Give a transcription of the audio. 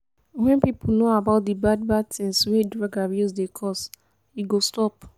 wen pipo know about de bad bad things wey drug abuse dey cos e go stop.